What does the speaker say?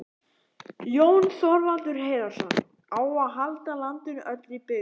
Jón Þorvaldur Heiðarsson,: Á að halda landinu öllu í byggð?